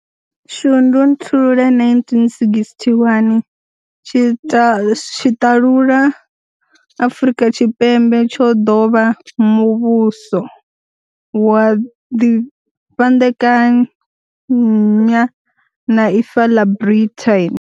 Shundunthule 1961, tshiṱalula Afrika Tshipembe tsho ḓo vha muvhuso, wa ḓifhandekanya na Ifa ḽa Britain.